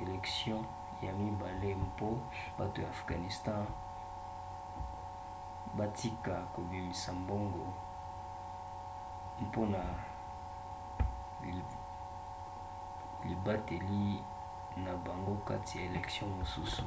elektio ya mibale mpo bato ya afghanistan batika kobimisa mbongo mpona libateli na bango kati ya elektio mosusu